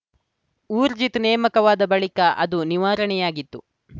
ಊರ್ಜಿತ್‌ ನೇಮಕವಾದ ಬಳಿಕ ಅದು ನಿವಾರಣೆಯಾಗಿತ್ತು